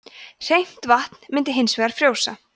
hreint vatn myndi hins vegar frjósa